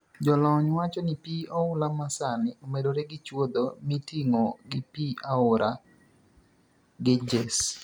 Jolony wacho ni pii oula ma sani omedore gi chuodho miting'o gi pi aora Ganges.